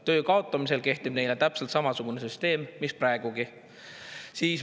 Töö kaotamisel kehtib neile täpselt samasugune süsteem, mis praegugi.